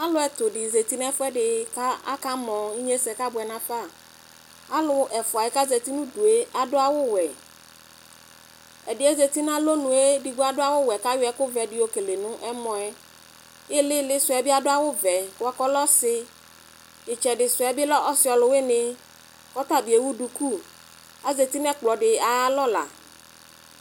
Alʋ ɛtʋdi zati nʋ ɛfʋɛdi kʋ akamɔ inyesɛ kabʋɛ nafa alʋ ɛfʋɛ kʋ azeti nʋ ʋdʋ yɛ adʋ awʋwɛ ɛdi yɛ zati nʋ alɔnʋ yɛ edigbo adʋ awʋwɛ kʋ ayɔ ɛkʋvɛdi yɔkele nʋ ɛmɔ yɛ ilili sʋɛ be adʋ awʋvɛ bʋakʋ ɔlɛ ɔsi itsɛdi sʋɛ bi lɛ ɔsi ɔlʋwini kʋ ɔtɔbi ewʋ duku azeti nʋ ɛkplɔdi ayʋ alɔla